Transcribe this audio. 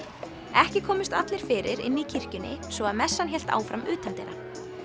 ekki komust allir fyrir inni í kirkjunni svo að messan hélt áfram utandyra